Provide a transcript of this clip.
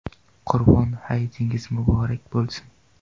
Qurbon hayitingiz muborak bo‘lsin!